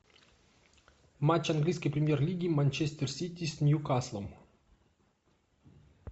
матч английской премьер лиги манчестер сити с ньюкаслом